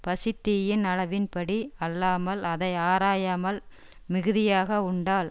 பசித்தீயின் அளவின் படி அல்லாமல் அதை ஆராயாமல் மிகுதியாக உண்டால்